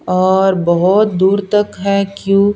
और बहुत दूर तक है क्यों--